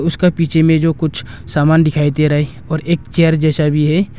उसका पीछे में जो कुछ सामान दिखाई दे रहा है और एक चेयर जैसा भी है।